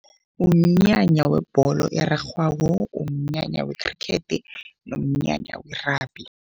Umnyanya webholo erarhwako, umnyanya wekhrikhethi nomnyanya we-rugby.